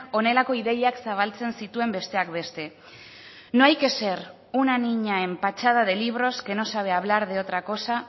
honelako ideiak zabaltzen zituen besteak beste no hay que ser una niña empachada de libros que no sabe hablar de otra cosa